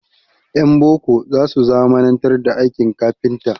Ƴan boko za su zamanantar da aikin kafinta.